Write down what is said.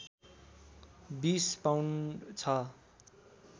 २० pound छ